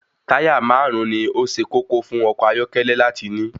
Táyà máàrún ni ó ṣe kókó fún ọkọ̀ ayọ́kẹ́lẹ́ láti ní.